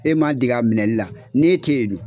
E m'a dege a minɛli la ni e tɛ yen dun?